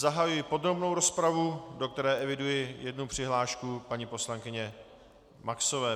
Zahajuji podrobnou rozpravu, do které eviduji jednu přihlášku paní poslankyně Maxové.